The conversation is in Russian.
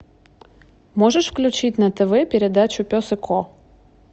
можешь включить на тв передачу пес и ко